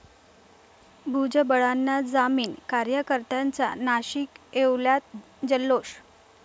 भुजबळांना जामीन, कार्यकर्त्यांचा नाशिक, येवल्यात जल्लोष!